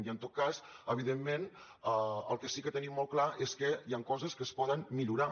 i en tot cas evidentment el que sí que tenim molt clar és que hi han coses que es poden millorar